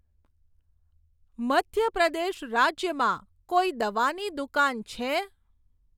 મધ્ય પ્રદેશ રાજ્યમાં કોઈ દવાની દુકાન છે?